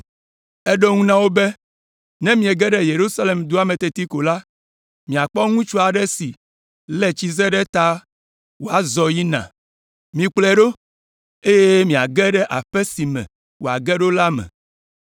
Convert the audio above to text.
Eɖo eŋu na wo be, “Ne miege ɖe Yerusalem dua me teti ko la, miakpɔ ŋutsu aɖe si lé tsize ɖe ta wòazɔ va yina. Mikplɔe ɖo, eye miage ɖe aƒe si me wòage ɖo la me,